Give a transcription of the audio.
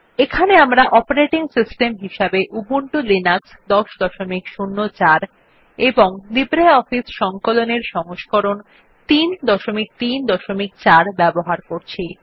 এখানে আমরা operating system হিসেবে উবুন্টু লিনাক্স ১০০৪ এবং লিব্রিঅফিস সংকলন এর সংস্করণ ৩৩৪ ব্যবহার করছি